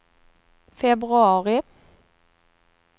februari